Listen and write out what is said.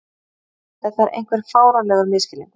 Þetta er einhver fáránlegur misskilningur.